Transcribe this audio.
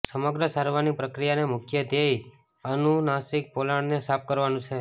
સમગ્ર સારવારની પ્રક્રિયાના મુખ્ય ધ્યેય અનુનાસિક પોલાણને સાફ કરવાનું છે